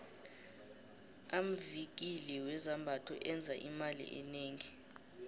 amvikili wezambatho enza imali enengi